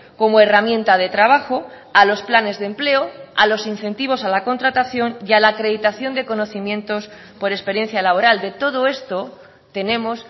como herramienta de trabajo a los planes de empleo a los incentivos a la contratación y a la acreditación de conocimientos por experiencia laboral de todo esto tenemos